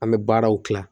An bɛ baaraw kila